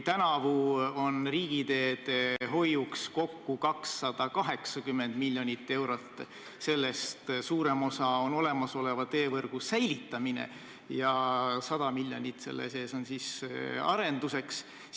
Tänavu on riigiteede hoiuks ette nähtud kokku 280 miljonit eurot ja sellest suurem osa läheb olemasoleva teevõrgu säilitamiseks ja 100 miljonit arenduseks.